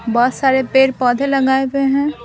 बहुत सारे पेड़-पौधे लगाए हुए हैं।